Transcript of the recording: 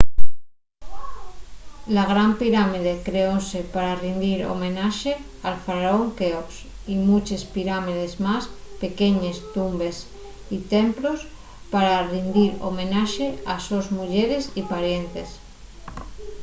la gran pirámide creóse pa rindir homenaxe al faraón queops y muches pirámides más pequeñes tumbes y templos pa rindir homenaxe a les sos muyeres y parientes